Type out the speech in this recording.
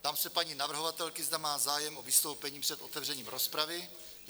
Ptám se paní navrhovatelky, zda má zájem o vystoupení před otevřením rozpravy?